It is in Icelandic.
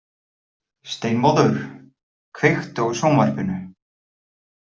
Steinmóður, kveiktu á sjónvarpinu.